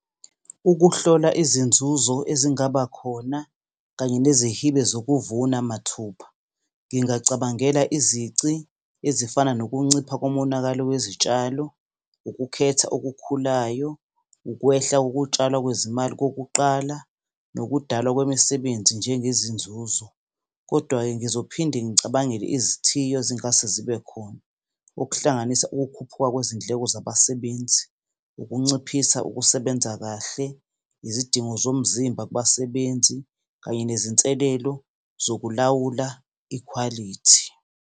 Ukuhlola izinzuzo ezingaba khona kanye nezihibe zokuvuna mathupha. Ngingacabangela izici ezifana nokuncipha komonakalo wezitshalo, ukukhetha okukhulayo, ukwehla kokutshalwa kwezimali kokuqala, nokudalwa kwemisebenzi njengezinzuzo, kodwa-ke ngizophinde ngicabangele izithiyo ezingase zibe khona. Okuhlanganisa ukukhuphuka kwezindleko zabasebenzi, ukunciphisa ukusebenza kahle, izidingo zomzimba kubasebenzi, kanye nezinselelo zokulawula ikhwalithi.